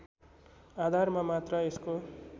आधारमा मात्र यसको